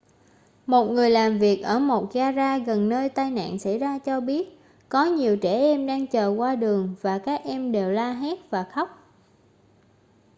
một người làm việc ở một ga-ra gần nơi tai nạn xảy ra cho biết có nhiều trẻ em đang chờ qua đường và các em đều la hét và khóc